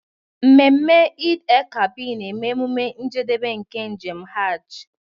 Ememe Eid-el-Kabir na-eme emume njedebe nke njem Hajj.